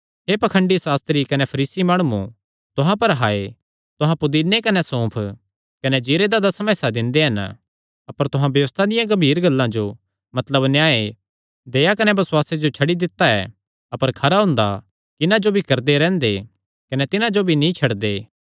हे पाखंडी सास्त्री कने फरीसी माणुओ तुहां पर हाय तुहां पुदीने कने सौंफ कने जीरे दा दसमा हिस्सा दिंदे हन अपर तुहां व्यबस्था दियां गम्भीर गल्लां जो मतलब न्याय दया कने बसुआसे जो छड्डी दित्ता ऐ अपर खरा हुंदा कि इन्हां जो भी करदे रैंह्दे कने तिन्हां जो भी नीं छड्डदे